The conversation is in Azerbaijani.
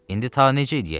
İndi ta necə eləyək?